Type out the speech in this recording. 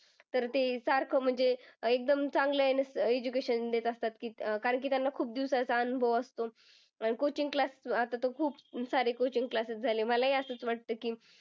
तर ते सारखं म्हणजे अं एकदम चांगलं अं नुसतं education देत असतात कारण की त्यांना खूप दिवसाचा अनुभव असतो. अं Coaching class आता तर खूप सारे coaching classes झाले. मला ही असच वाटतं की,